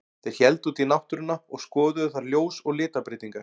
Þeir héldu út í náttúruna og skoðuðu þar ljós og litabreytingar.